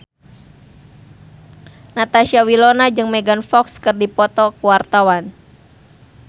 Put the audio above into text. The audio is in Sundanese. Natasha Wilona jeung Megan Fox keur dipoto ku wartawan